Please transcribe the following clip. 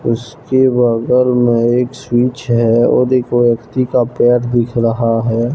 उसके बगल में एक स्विच है और एक व्यक्ति का पैर दिख रहा है।